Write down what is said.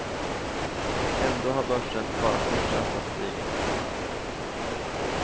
Ändå har börsen bara fortsatt att stiga.